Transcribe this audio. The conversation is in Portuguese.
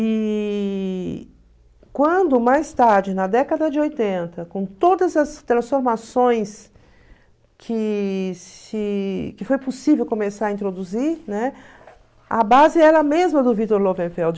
E quando mais tarde, na década de oitenta, com todas as transformações que se que foi possível começar a introduzir, a base era a mesma do Victor Lowenfeld.